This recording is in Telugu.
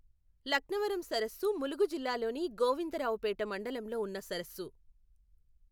లక్నవరం సరస్సు ములుగు జిల్లాలోని గోవిందరావుపేట మండలంలో ఉన్న సరస్సు.